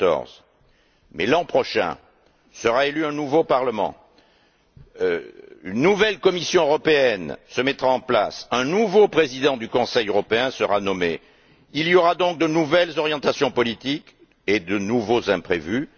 2014. Mais l'an prochain, sera élu un nouveau Parlement, une nouvelle Commission européenne se mettra en place, un nouveau président du Conseil européen sera nommé il y aura donc de nouvelles orientations politiques et de nouveaux imprévus.